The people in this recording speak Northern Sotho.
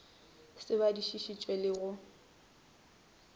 se badišiši tšwe le go